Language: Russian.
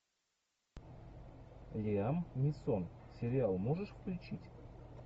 лиам нисон сериал можешь включить